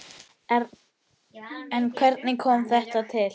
En hvernig kom þetta til?